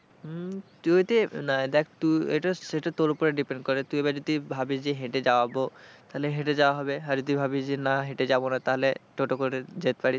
তুই যদি না দেখ এটা সেটা তোর ওপরে depend করে, তুই এবার যদি ভাবিস যে হেঁটে যাওয়া হবে তাহলে হেঁটে যাওয়া হবে আর যদি ভাবিস যে না হেঁটে যাবো না তাহলে টোটো করে যেতে পারিস।